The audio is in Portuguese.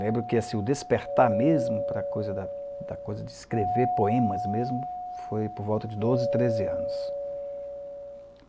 Lembro que assim, o despertar mesmo para a coisa da da coisa de escrever poemas mesmo, foi por volta de doze, treze anos.